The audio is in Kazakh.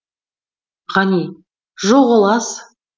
ғани жоқ ол аз